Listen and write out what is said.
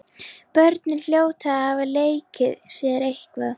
Börnin hljóta að hafa leikið sér eitthvað.